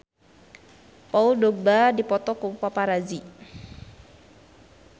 Paul Dogba dipoto ku paparazi